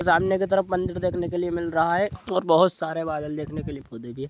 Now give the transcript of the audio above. सामने के तरफ मंदिर देखने के लिए मिल रहा है और बहुत सारे बादल देखने के लिए वो दिखिये |